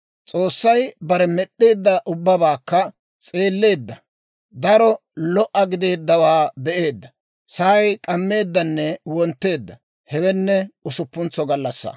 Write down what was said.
S'oossay bare med'd'eedda ubbabaakka s'eelleedda; daro lo"a gideeddawaa be'eedda. Sa'ay k'ammeeddanne wontteedda; hewenne usuppuntso gallassaa.